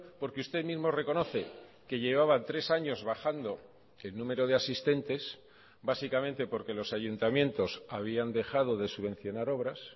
porque usted mismo reconoce que llevaba tres años bajando el número de asistentes básicamente porque los ayuntamientos habían dejado de subvencionar obras